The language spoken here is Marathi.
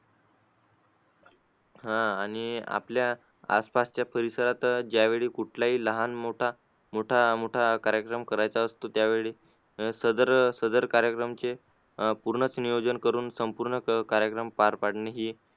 आह आणि आपल्या आसपासच्या परिसरात ज्यावेळी कुठलाही लहान मोठा मोठा मोठा कार्यक्रम करायचा असतो त्यावेळी अह सदर सदर कार्यक्रमाचे अह पूर्णच नियोजन करून संपूर्ण कार्यक्रम पार पाडणे ही